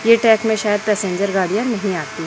ये ट्रैक में शायद पैसेंजर गाड़ियां नहीं आती--